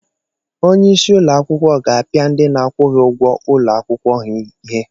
Onye isi ụlọ akwụkwọ ga-apịa ndị na-akwụghị ụgwọ ụlọ akwụkwọ ha ihe